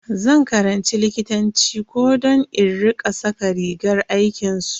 Zan karanci likitanci ko don in rika saka rigar aikinsu.